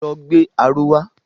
Lọ gbé aró wa!